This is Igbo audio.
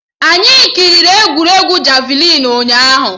Anyị kiriri egwuregwu javịlịn ụnyaahụ